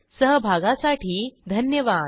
सहभागासाठी धन्यवाद